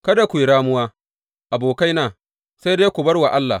Kada ku yi ramuwa, abokaina, sai dai ku bar wa Allah.